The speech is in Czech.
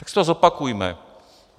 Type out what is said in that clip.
Tak si to zopakujme.